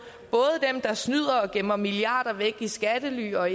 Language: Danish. dem der snyder og gemmer milliarder væk i skattely og